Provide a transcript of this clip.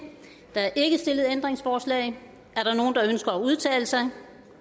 der er ikke stillet ændringsforslag er der nogen der ønsker at udtale sig